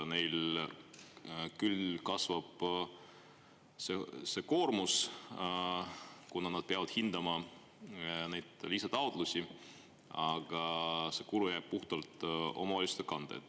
Neil küll kasvab see koormus, kuna nad peavad hindama neid lisataotlusi, aga see kulu jääb puhtalt omavalitsuste kanda.